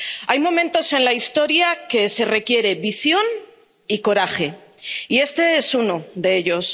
Hay momentos en la historia en que se requiere visión y coraje, y este es uno de ellos.